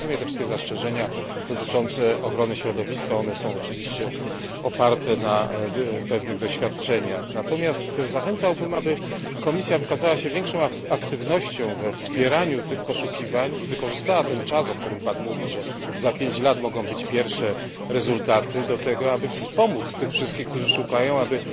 Rozumiem te wszystkie zastrzeżenia dotyczące ochrony środowiska. Są one oczywiście oparte na pewnych doświadczeniach. Zachęcałbym natomiast, aby Komisja wykazała się większą aktywnością we wspieraniu tych poszukiwań i wykorzystała ten czas, o którym Pan mówi że za 5 lat mogą być pierwsze rezultaty do tego, aby wspomóc wszystkich, którzy szukają, aby